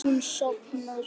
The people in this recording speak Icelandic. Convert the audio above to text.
Hún sofnar.